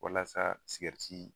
Walasa